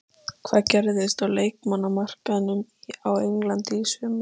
Tal verður óskýrt, hreyfingar óstyrkar og reikular.